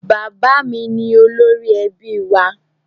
Bàbá mi ni olórí ẹbí wa.